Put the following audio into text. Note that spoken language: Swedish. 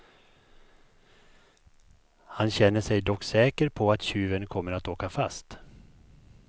Han känner sig dock säker på att tjuven kommer att åka fast.